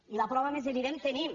i la prova més evident que tenim